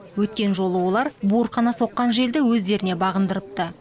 өткен жолы олар буырқана соққан желді өздеріне бағындырыпты